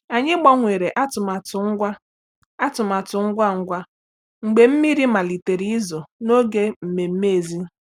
Anyị gbanwere atụmatụ ngwa atụmatụ ngwa ngwa mgbe mmiri malitere izo n'oge nmenme èzí.